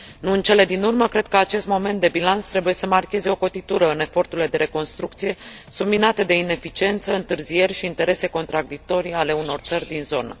Nu în cele din urmă, cred că acest moment de bilanț trebuie să marcheze o cotitură în eforturile de reconstrucție, subminate de ineficiență, întârzieri și interese contradictorii ale unor țări din zonă.